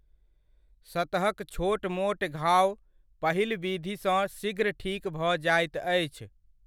सतहक छोट मोट घाओ पहिल विधिसँ शीघ्र ठीक भऽ जाइत अछि।